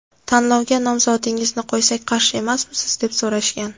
Tanlovga nomzodingizni qo‘ysak qarshi emasmisiz, deb so‘rashgan.